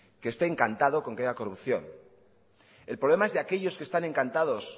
que esté encantado con que haya corrupción el problema es de aquellos que están encantados